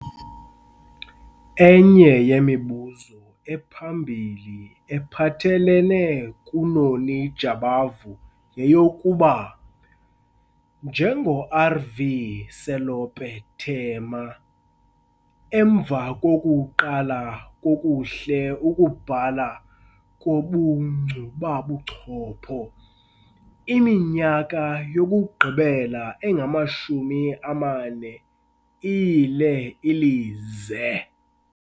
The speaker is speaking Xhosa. Enye yemibuzo ephambili ephathelele kuNoni Jabavu yeyokuba, njengoR.V.Selope Thema, emva kokuqala kakuhle ukubhala ngobunkcubabuchopho, imniyaka yokugqibela engamashumi amane iyile ilize!